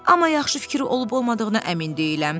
Amma yaxşı fikir olub-olmadığına əmin deyiləm.